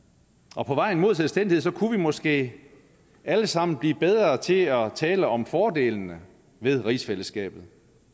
og på vejen mod selvstændighed kunne vi måske alle sammen blive bedre til at tale om fordelene ved rigsfællesskabet